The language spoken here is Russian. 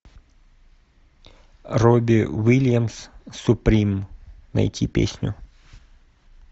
робби уильямс суприм найти песню